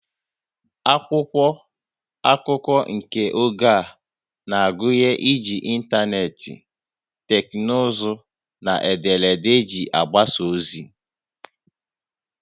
Akwụkwọ akụkọ nke oge a na-agụnye iji ịntanetị, teknụzụ na ederede iji gbasaa ozi